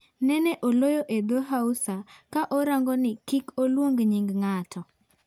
Nen oloyo edhoo Hausa, ka orangoni kik oluong nying ng'ato.